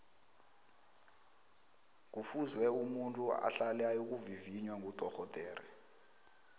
ngufuze umuntu ahlale ayokuvivinya kudorhodere